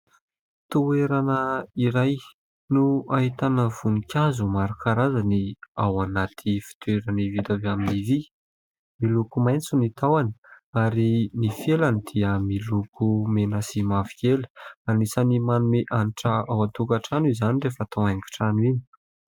Toerana iray no ahitana voninkazo maro karazany ao anaty fitoerany vita avy amin'ny vy. Miloko maitso ny tahony, ary ny felany dia miloko mena sy mavokely. Anisan'ny manome hanitra ao an-tokatrano izany rehefa atao haingo trano iny.